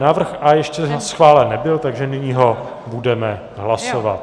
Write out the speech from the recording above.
Návrh A ještě schválen nebyl, takže nyní ho budeme hlasovat.